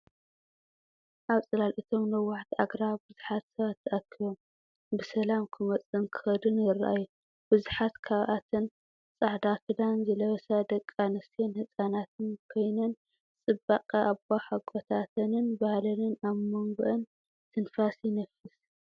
ኣብ ጽላል እቶም ነዋሕቲ ኣግራብ ብዙሓት ሰባት ተኣኪቦም፡ ብሰላም ክመጹን ክኸዱን ይረኣዩ። ብዙሓት ካብኣተን ጻዕዳ ክዳን ዝለበሳ ደቂ ኣንስትዮን ህጻናትን ኮይነን፡ ጽባቐ ኣቦሓጎታተንን ባህለንን ኣብ መንጎአን ትንፋስ ይነፍስ።